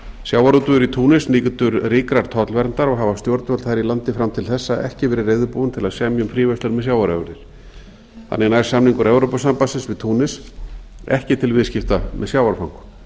sjávarútvegur í túnis nýtur ríkrar tollverndar og hafa stjórnvöld þar í landi fram til þessa ekki verið reiðubúin til að semja um fríverslun með sjávarafurðir þannig nær samningur evrópusambandsins við túnis ekki til viðskipta með sjávarfang